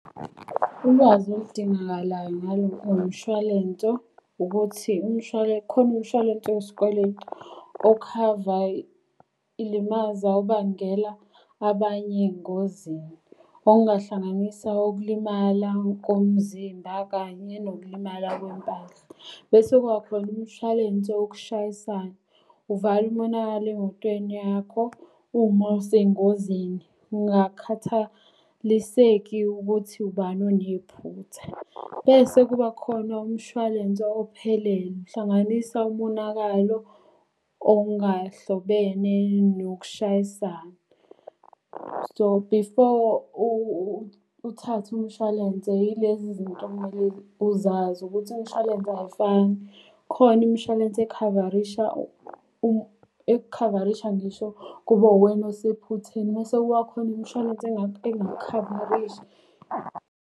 Ulwazi oludingakalayo ngalo mshwalenso ukuthi khona umshwalense wesikweletu, okhava ilimaza ubangela abanye engozini. Okungahlanganisa ukulimala komzimba kanye nokulimala kwempahla. Bese kuba khona umshwalense wokushayisana, uvale umonakalo emotweni yakho uma usengozini. Ungakhathaliseki ukuthi ubani onephutha. Bese kuba khona umshwalense ophelele, uhlanganisa umonakalo ongahlobene nokushayisana. So, before uthathe umshwalense yilezi izinto okumele uzazi ukuthi imishwalense ayifani. Khona imishwalense ekhavarisha ekukhavarisha ngisho kube uwena osephutheni, mese kuba khona imishwalense engakukhavarishi.